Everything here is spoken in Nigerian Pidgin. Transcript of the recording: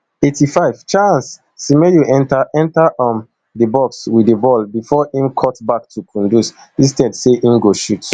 eighty-five charles semenyo enta enta um di box wit di ball bifor im cutback to kundus instead say im go shoot